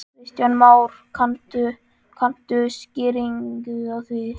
Kristján Már: Kanntu skýringu á því?